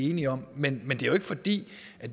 enige om men men det er jo ikke fordi